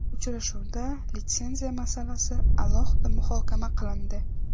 Uchrashuvda litsenziya masalasi alohida muhokama qilindi.